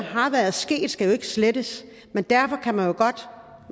er sket skal jo ikke slettes men derfor kan man